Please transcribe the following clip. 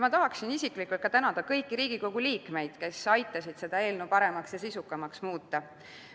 Ma tahan isiklikult tänada kõiki Riigikogu liikmeid, kes aitasid seda eelnõu paremaks ja sisukamaks muuta.